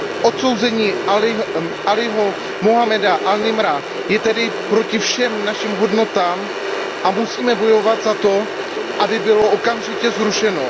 Odsouzení Alího Muhammada an Nimra je tedy proti všem našim hodnotám a musíme bojovat za to, aby bylo okamžitě zrušeno.